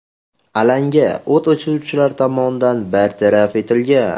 Alanga o‘t o‘chiruvchilar tomonidan bartaraf etilgan.